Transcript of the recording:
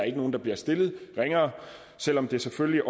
er nogen der bliver stillet ringere selv om der selvfølgelig